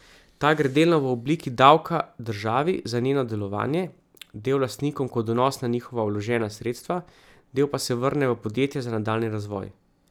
Ta gre delno v obliki davka državi za njeno delovanje, del lastnikom kot donos na njihova vložena sredstva, del pa se vrne v podjetje za nadaljnji razvoj.